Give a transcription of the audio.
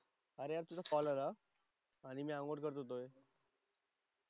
अरे आज तुझा कॉल आला आणि मी अंघोळ करत होतो.